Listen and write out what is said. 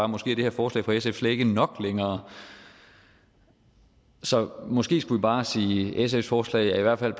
måske er det her forslag fra sf slet ikke nok længere så måske skulle vi bare sige at sfs forslag i hvert fald